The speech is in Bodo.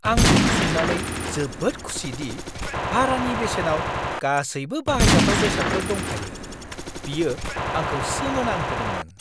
आं बेखौ नुनानै जोबोद खुसिदि भारानि बेसेनाव गासैबो बाहायजाथाव बेसादफोर दंफायो। बियो आंखौ सोमोनांहोदोंमोन!